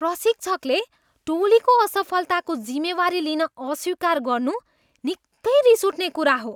प्रशिक्षकले टोलीको असफलताको जिम्मेवारी लिन अस्वीकार गर्नु निकै रिस उठ्ने कुरा हो।